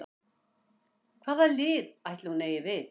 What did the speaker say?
Hvað lið ætli hún eigi við?